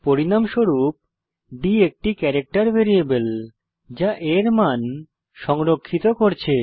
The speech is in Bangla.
পরিণামস্বরূপ d একটি ক্যারাক্টের ভ্যারিয়েবল যা A এর মান সংরক্ষিত করছে